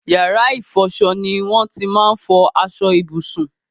Yàrá ìfọṣọ ni won ti máa n fọ aṣọ ìbùsùn